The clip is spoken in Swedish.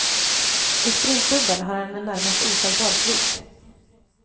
I sprintdubbel har han en närmast oslagbar svit.